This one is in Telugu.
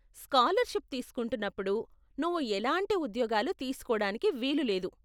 స్కాలర్షిప్ తీసుకుంటున్నప్పుడు నువ్వు ఎలాంటి ఉద్యోగాలు తీసుకోడానికి వీలు లేదు.